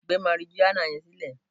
Gbé marijuana yẹn sílẹ̀!